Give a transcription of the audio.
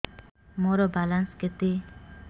ମୋର ବାଲାନ୍ସ କେତେ